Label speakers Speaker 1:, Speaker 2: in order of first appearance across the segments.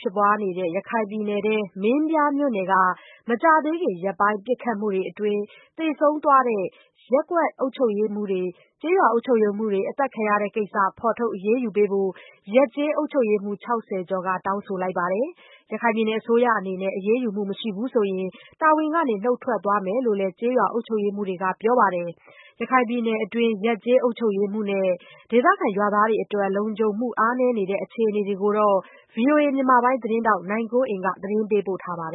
Speaker 1: ဖြစ်ပွားနေတဲ့ ရခိုင်ပြည်နယ်မင်းပြားမြို့နယ်က မကြာသေးခင် ရက်ပိုင်း ပစ်ခတ်မှုအတွင်း သေဆုံးသွားတဲ့ ရွာအုပ်ချုပ်ရေးမှူးတွေ အသတ်ခံရတဲ့ကိစ္စ ဖေါ်ထုတ် အရေးယူပေးဖို့ ရပ်ကျေးအုပ်ချုပ်ရေးမှူး ၆၀ ကျော်ကနေ တောင်းဆိုခဲ့ပါတယ်။ အစိုးရအနေနဲ့ အရေးယူမှု မရှိဘူးဆိုရင် တာဝန်ကနေ နုတ်ထွက်သွားမယ်လို့လည်း ကျေးရွာအုပ်ချုပ်ရေးမှူးတွေက ပြောပါတယ်။ ရခိုင်ပြည်နယ်အတွင်း ရပ်ကျေးအုပ်ချုပ်ရေးမှူးနဲ့ ရွာသားတွေအတွက် လုံခြုံမှု အားနည်းနေတဲ့ အခြေအနေကိုတော့ ဗွီအိုအေမြန်မာပိုင်း သတင်းထောက် နိုင်ကွန်းအိန်ကနေ ပြောပြပေးမ
Speaker 2: ှာပါ။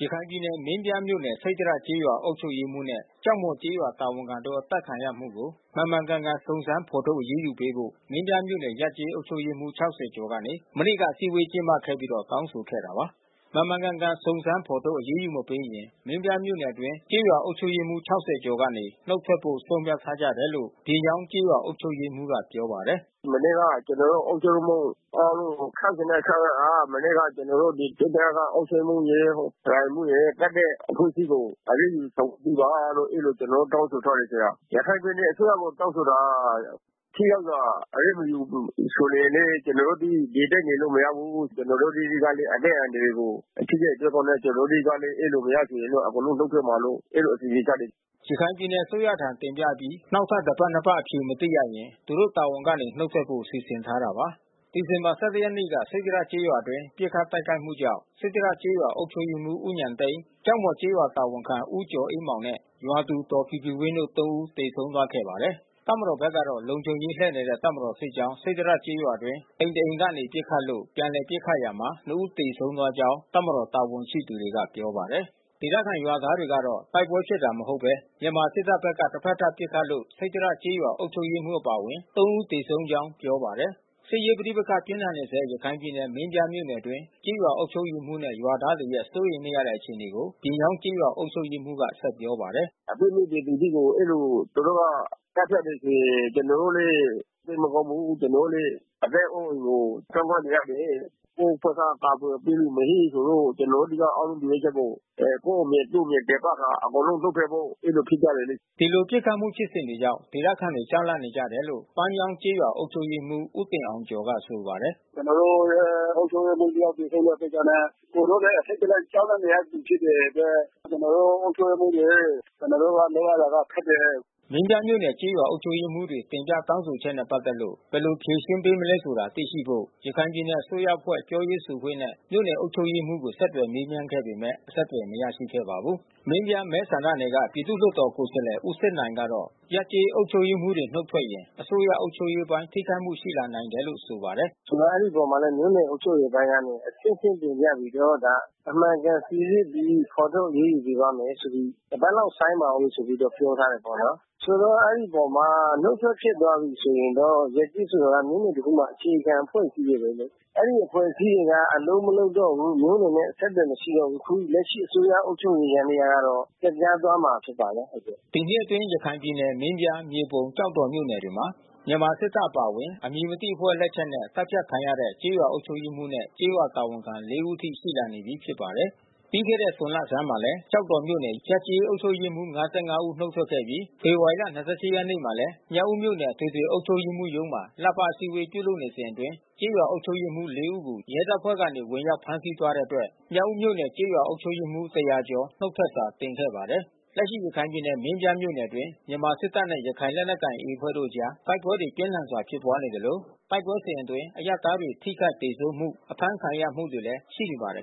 Speaker 2: ရခိုင်ပြည်နယ် မင်းပြားမြို့နယ် စိတ္တရကျေးရွာ အုပ်ချုပ်ရေးမှူးနဲ့ ကျောက်မှော်ကျေးရွာ တာဝန်ခံတို့ အသတ်ခံရမှုကို မှန်မှန်ကန်ကန် စုံစမ်းဖော်ထုတ် အရေးယူပေးဖို့ မင်းပြားမြို့နယ်ရပ်ကျေး အုပ်ချုပ်ရေးမှူး ၆၀ ကျော်ကနေ မနေ့က အစည်းအဝေး ကျင်းပခဲ့ပြီး တောင်းဆိုခဲ့တာပါ။ မှန်မှန်ကန်ကန် စုံစမ်းဖော်ထုတ် အရေးယူ မပေးရင် မင်းပြားမြို့နယ်အတွင်း ကျေးရွာအုပ်ချုပ်ရေးမှူး ၆၀ ကျော်ကနေ နုတ်ထွက်ဖို့ ဆုံးဖြတ်ထားကြတယ်လို့ ပြင်ယောင်း ကျေးရွာအုပ်ချုပ်ရေးမှူးက ပြောပါတယ်
Speaker 1: ။ “မနေ့က ကျနော်တို့ အုပ်ချုပ်ရေးမှူး အားလုံး ၆၆ ယောက်က မနေ့က ကျနော်တို့ စိတ္တရအုပ်ချုပ်ရေးမှူးရယ်၊ ရာအိမ်မှူးရယ် သတ်တဲ့ အမှုကြီးကို အရေးယူ ဆောင်ရွက်ပေးပါလို့ အဲဒီလိုကျနော်တို့ တောင်းဆိုထားတယ်။ ရခိုင်ပြည်နယ်အစိုးရကို တောင်းဆိုထားတာ။ အရေးမယူဘူးဆိုရင်လည်း ကျနော်တို့ ဒီအတိုင်းနေလို့ မရဘူး။ ကျနော်တို့ အသီးသီးကလည်း အသက်အန္တရာယ်ကို ထိခိုက်သွားတော့လည်း ကျနော်တို့ကလည်း အဲဒီလိုမရဆိုရင်တော့ အကုန်လုံး နုတ်ထွက်မှာလို့။ အဲဒီလို အစီစဉ်ချတယ်။
Speaker 2: ” ရခိုင်ပြည်နယ် အစိုးရထံတင်ပြအပြီး နောက်ထပ်တပတ်၊ နှစ်ပတ် အဖြေမသိရရင် သူတို့တာဝန်ကနေ နုတ်ထွက်ဖို့ စီစဉ်ထားပါတယ်။ ဒီဇင်ဘာ ၁၁ ရက်နေ့က စိတ္တရကျေးရွာအတွင်း ပစ်ခတ် တိုက်ခိုက်မှုကြောင့် စိတ္တရကျေးရွာ အုပ်ချုပ်ရေးမှူး ဦးဉာဏ်သိန်း ကျောက်မော်ကျေးရွာတာဝန်ခံ ဦးကျော်အေးမောင်နဲ့ ရွာသူ ဒေါ်ဖြူဖြူဝင်းတို့ သုံး ဦး သေဆုံးသွားခဲ့ပါတယ်။ တပ်မတော်ဘက်ကတော့ လုံခြုံရေးလှည့်နေတဲ့ တပ်မတော်စစ်ကြောင်း စိတ္တရကျေးရွာအတွင်း အိမ် တအိမ်ကနေ ပစ်ခတ်လို့ ပြန်လည်ပစ်ခတ်ရာမှာ နှစ်ဦး သေဆုံးကြောင်း တပ်မတော် တာဝန်ရှိသူတွေက ပြောပါတယ်။ ဒေသခံရွာသားတွေကတော့ တိုက်ပွဲဖြစ်တာ မဟုတ်ဘဲ မြန်မာစစ်တပ်ဘက်က တဘက်သတ် ပစ်ခတ်လို့ စိတ္တရကျေးရွာ အုပ်ချုပ်ရေးမှူး အပါဝင် သုံး ဦး သေဆုံးကြောင်း ပြောပါတယ်။ စစ်ရေးပဋိပက္ခ ပြင်းထန်နေဆဲ ရခိုင်ပြည်နယ် မင်းပြားမြို့နယ်အတွင်း ကျေးရွာအုပ်ချုပ်ရေးမှူးနဲ့ ရွာသားတွေရဲ့ စိုးရိမ်နေရတဲ့ အခြေအနေကို ပြင်ယောင်းကျေးရွာ အုပ်ချုပ်ရေးမှူးက ဆက်ပြောပါတယ်။
Speaker 1: “အပြစ်မဲ့ပြည်သူကြီးကို သူတို့က အဲဒီလို သတ်ဖြတ်ပြီးဆိုလျှင် ကျနော်တို့လည်း စိတ်မကောင်းဘူး။ ကျနော်တို့လည်း အသက်အိုးအိမ်ကို ကြောက်လန့်နေရတယ်။ ကိုယ့်ဘက်က ကာကွယ်ပေးသူမရှိဆိုလို့ ကျနော်တို့ဆီက အားလုံးမျှော်လင့်ချက်ကို ကိုယ့်အမြင်၊ သူ့အမြင်တင်ပြကာ
Speaker 2: အကုန်လုံးနုတ်ထွက်ဖို့ အဲဒီလိုဖြစ်ကြတယ်လေ။” ဒီလို ပစ်ခတ်မှုဖြစ်စဉ်တွေကြောင့် ဒေသခံတွေ ကြောက်လန့်နေကြတယ်လို့ ပန်းမြောင်း ကျေးရွာအုပ်ချုပ်ရေးမှူး ဦးတင်အောင်ကျော်က ပြောပါတယ်။
Speaker 1: “ကျနော်တို့ရဲ့ အုပ်ချုပ်ရေးမှူး တယောက် သေဆုံးတဲ့ ကိစ္စနဲ့ပတ်သက်ပြီး အကုန်လုံးလည်း အထိတ်တလန့်နဲ့ ကြောက်လန့်နေရချိန် ဖြစ်တဲ့အတွက် ကျနော်တို့ အုပ်ချုပ
Speaker 2: ်ရေးမှူးတွေ ကျနော်တို့က လုပ်ရတာ ခက်တယ်။” မင်းပြားမြို့နယ် ကျေးရာအုပ်ချုပ်ရေးမှူးတွေ တောင်းဆိုတင်ပြချက်နဲ့ ပတ်သက်လို့ ဘယ်လိုဖြေရှင်းပေးမလဲ သိရှိဖို့ ရခိုင် ပြည်နယ်အစိုးရ အဖွဲ့ပြောရေးဆိုခွင့်နဲ့ မြို့နယ်အုပ်ချုပ်ရေးမှူးကို ဆက်သွယ်မေးမြန်းခဲ့ပေမဲ့ အဆက်သွယ် မရရှိခဲ့ပါဘူး။ မင်းပြားမဲဆန္ဒနယ်က ပြည်သူ့လွှတ်တော်ကိုယ်စားလှယ် ဦးစစ်နိုင်ကတော့ ရပ်ကျေးအုပ်ချုပ်ရေးမှူးတွေ နုတ်ထွက်ရင် အစိုးရအုပ်ချုပ်ရေးအပိုင်း ထိခိုက်မှု ရှိလာနိုင်တယ်လို့ ဆိုပါတယ်။ “ဆိုတော့ မြို့နယ်အုပ်ချုပ်ရေးအပိုင်းက
Speaker 1: နေ အဆင့်ဆင့် တင်ပြသွားပြီးတော့ အမှန်ကန် စီစစ်ပြီး ဖေါ်ထုတ် အရေးယူပေးပါ့မယ်ဆိုပြီး တပတ်လောက် ဆိုင်းပါဦး ပြောထားတယ်ပေါ့နော်။ ဆိုတော့အဲဒီအပေါ်မှာ နုတ်ထွက်ဖြစ်သွားပြီးဆိုရင်တော့ ရပ်ကျေးဆိုတာ မြို့နယ် တခုမှာ အခြေခံအကျဆုံး အဖွဲ့အစည်းပဲလေ။ အဲဒီအဖွဲ့အစည်းတွေက အလုပ်မလုပ်တော့ဘူး မြို့နယ်နဲ့ အဆက်အသွယ် မရှိတော့ဘူးဆိုတော့ အခုလက်ရှိအစိုးရရဲ့ အုပ်ချုပ်ရေး ယန္တရားကတော့ ပျက်ပြားသွားမှာ ဖြစ်ပါတယ်။
Speaker 2: ” ဒီနှစ်အတွင်း ရခိုင်ပြည်နယ်မင်းပြား၊ မြေပုံ၊ ကျောက်တော်မြို့နယ်တွေမှာ မြန်မာစစ်တပ်အပါဝင် အမည်မသိ အဖွဲ့ လက်ချက်နဲ့ သတ်ဖြတ်ခံရတဲ့ ကျေးရွာအုပ်ချုပ်ရေးမှူးနဲ့ ကျေးရွာတာဝန်ခံ လေးဦးအထိ ရှိလာနေပြီး ဖြစ်ပါတယ်။ ပြီးခဲ့တဲ့ ဇွန်လဆန်းမှာလည်း ကျောက်တော်မြို့နယ်က ရပ်ကျေးအုပ်ချုပ်ရေးမှူး ၅၅ ဦး နုတ်ထွက်ခဲ့ပြီး ဖေဖော်ဝါရီလ ၂၈ ရက်နေ့ကလည်း မြောက်ဦးမြို့နယ် အထွေထွေ အုပ်ချုပ်ရေးမှူးရုံးမှာ လပတ် အစည်းအဝေး ပြုလုပ်နေစဉ်အတွင်း ကျေးရွာအုပ်ချုပ်ရေးမှူး လေးဦးကို ရဲတပ်ဖွဲ့ကနေ ဝင်ရောက် ဖမ်းဆီးသွားတဲ့အတွက် မြောက်ဦးမြို့နယ် ကျေးရွာအုပ်ချုပ်ရေးမှူး ၁ဝဝ ကျော် နုတ်ထွက်စာ တင်ခဲ့ပါတယ်။ လက်ရှိ ရခိုင်ပြည်နယ် မင်းပြားမြို့နယ်အတွင်း မြန်မာစစ်တပ်နဲ့ ရခိုင်လက်နက်ကိုင် အဖွဲ့တို့အကြား တိုက်ပွဲတွေ ပြင်းထန်စွာ ဖြစ်ပွားနေသလို တိုက်ပွဲစဉ်အတွင်း အရပ်သားတွေ ထိခိုက်သေဆုံးမှု အဖမ်းဆီးခံ
Speaker 1: ရမှုတွေ ရှိနေပါတယ်။